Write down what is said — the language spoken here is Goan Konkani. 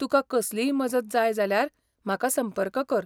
तुका कसलीय मजत जाय जाल्यार म्हाका संपर्क कर.